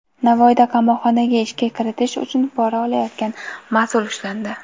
Navoiyda qamoqxonaga ishga kiritish uchun pora olayotgan mas’ul ushlandi.